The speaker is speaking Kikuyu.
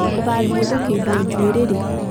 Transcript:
ũgathiĩ gũkĩndwo njuĩri rĩ